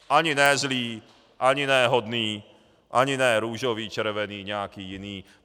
Ani ne zlý, ani ne hodný, ani ne růžový, červený, nějaký jiný.